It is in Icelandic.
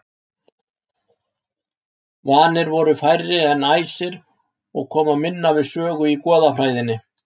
Vanir voru færri en æsir og koma minna við sögu í goðafræðinni.